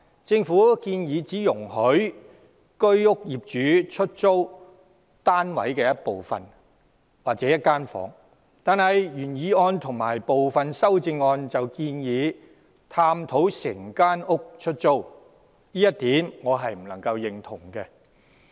政府建議只容許居屋業主出租單位一部分或一間房，但原議案及部分修正案建議探討整間屋出租，我不能贊同這一點。